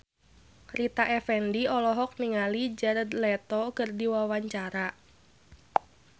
Rita Effendy olohok ningali Jared Leto keur diwawancara